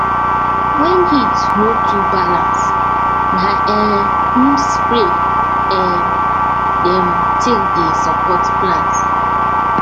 when heat no too balance na um neem spray um dem take dey support plants